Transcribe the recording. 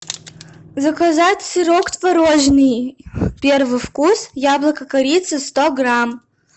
заказать сырок творожный первый вкус яблоко корица сто грамм